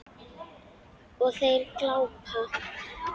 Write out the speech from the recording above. Og þeir glápa.